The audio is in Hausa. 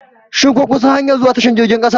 Shin kun san hanyar zuwa tashar jirgin kasa?